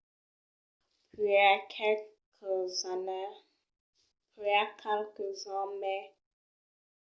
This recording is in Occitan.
puèi qualques ans mai tard en 1639 un astronòm anglés sonat jeremiah horrocks observèt un transit de vènus